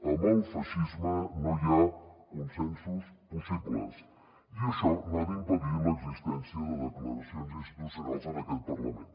amb el feixisme no hi ha consensos possibles i això no ha d’impedir l’existència de declaracions institucionals en aquest parlament